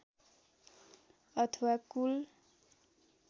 अथवा कुल